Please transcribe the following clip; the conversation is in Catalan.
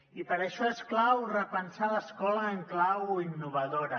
i per això és clau repensar l’escola en clau innovadora